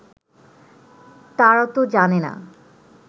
তারা ত জানে না